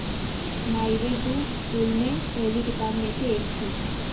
my way to school में पहली किताबों में से एक थी